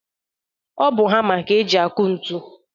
Ọ bụ hama ka e ji akụ ntu.